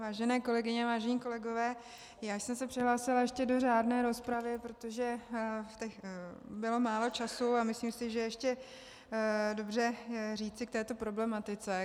Vážené kolegyně, vážení kolegové, já jsem se přihlásila ještě do řádné rozpravy, protože bylo málo času a myslím si, že ještě dobře říci něco k této problematice.